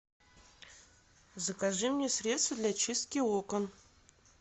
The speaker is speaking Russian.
закажи мне средство для чистки окон